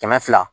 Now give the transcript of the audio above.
Kɛmɛ fila